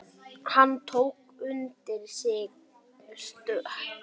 Hann tók undir sig stökk.